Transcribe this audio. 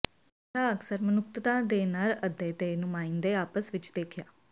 ੇਸਮਸਾਹ ਅਕਸਰ ਮਨੁੱਖਤਾ ਦੇ ਨਰ ਅੱਧੇ ਦੇ ਨੁਮਾਇੰਦੇ ਆਪਸ ਵਿੱਚ ਦੇਖਿਆ